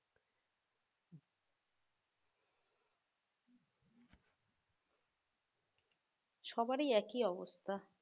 সবারই একই অবস্থা